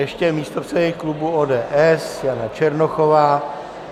Ještě místopředsedkyně klubu ODS, Jana Černochová.